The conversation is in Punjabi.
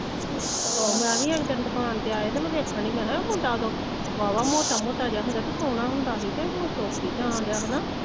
ਆਹੋ ਮੈ ਵੀ ਇੱਕ ਦਿਨ ਦੁਕਾਨ ਤੇ ਆਏ ਤੇ ਮੈ ਵੇਖਣ ਦੀ ਮੈ ਕਿਹਾ ਇਹ ਮੁੰਡਾ ਓਦੋ ਵਾਵਾ ਮੋਟਾ ਮੋਟਾ ਜਾ ਹੁੰਦਾ ਹੀ ਤੇ ਸੋਹਣਾ ਹੁੰਦਾ ਹੀ ਤੇ ਹੁਣ ਸੁੱਕ ਈ ਜਾਂ ਦਿਆ।